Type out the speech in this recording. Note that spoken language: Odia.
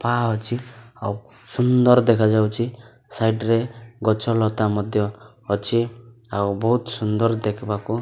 ପା ଅଛି ଆଉ ସୁନ୍ଦର୍ ଦେଖାଯାଉଚି ସାଇଟ୍ ରେ ଗଛ ଲତା ମଧ୍ୟ ଅଛି ଆଉ ବହୁତ୍ ସୁନ୍ଦର ଦେଖିବାକୁ --